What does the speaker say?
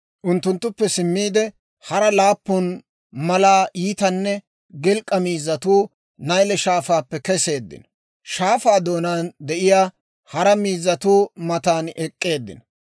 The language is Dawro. Unttunttuppe simmiide, hara laappun malaa iitanne gilk'k'a miizzatuu Nayle Shaafaappe keseeddino; shaafaa doonaan de'iyaa hara miizzatuu matan ek'k'eeddinno.